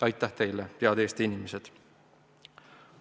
Aitäh teile, head Eesti inimesed!